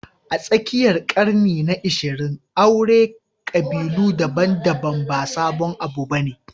A tsakiyar ƙarni na 20, auren ƙabilu daban-daban ba sabon abu ba ne